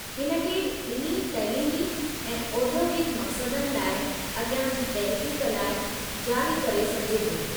हिन खे ॿिन्ही तैलीमी ऐं औद्योगिकु मक़सदनि लाइ अगि॒यां जी तहक़ीक़ लाइ जारी करे सघिजे थो।